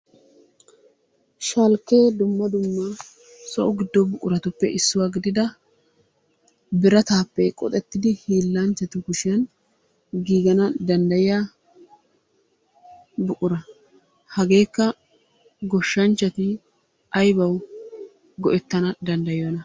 Shalkke dumma dumma so giddo buquratuppe issuwa gidida biratappe qoxettidi hiilanchchatu kushiyaan giigana danddayiya buqura. Hagekka goshshanchchati aybbaw go"ettana danddayiyoona?